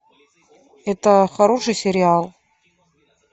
это хороший сериал